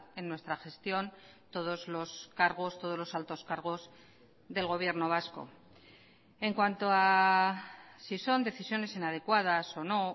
en nuestra gestión todos los cargos todos los altos cargos del gobierno vasco en cuanto a si son decisiones inadecuadas o no